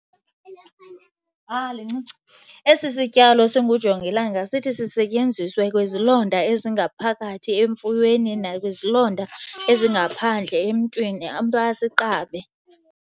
Esi sityalo singujongilanga sithi sisetyenziswe kwizilonda ezingaphakathi emfuyweni nakwizilonda ezingaphandle emntwini, umntu asiqabe.